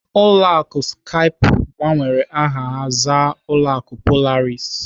Ụlọ akụ Skype gbanwere aha ha zaa ụlọ akụ Polaris.